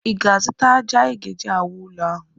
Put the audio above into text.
Ị ga-azụta ájá anyị ga-eji wuo ụlọ ahụ?